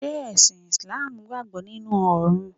Ṣé ẹ̀sìn ìsláàmù gbàgbọ́ nínu Ọ̀run